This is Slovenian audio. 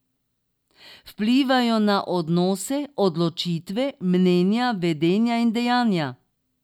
Vplivajo na odnose, odločitve, mnenja, vedenje in dejanja.